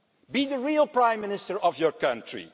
Be the real Prime Minister of your country.